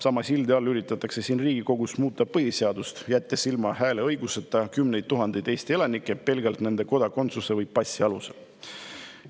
Sama sildi all üritatakse siin Riigikogus muuta põhiseadust, jättes hääleõigusest ilma kümneid tuhandeid Eesti elanikke pelgalt nende kodakondsuse või passi alusel.